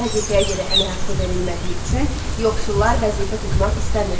Vəzifəyə görə əmək haqqı verilmədiyi üçün yoxsullar vəzifə tutmaq istəmirdilər.